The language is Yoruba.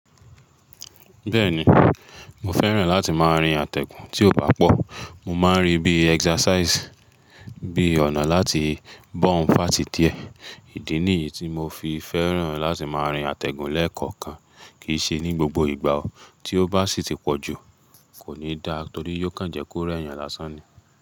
Bẹ́ẹ̀ni, mo fẹ́ràn láti máa rin àtẹ̀gùn tí ò bá pọ̀. Mo máa ń rí bií exercise, bí ọ̀nà láti burn fat diẹ. Idí nìyí tí mo fi fẹ́ràn láti máa rin àtẹ̀gùn lẹ́ẹ̀kọ̀okan. Kìí ṣe ní gbogbo ìgbà o. Tí ó bá sì ti pọ̀ jù, kò ní da torí yóò kàn jẹ́ kó re eẹ́yàn lásán ni.